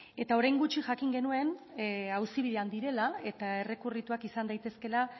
eta orain gutxi jakin genuen auzibidean direla eta errekurrituak izan daitezkeela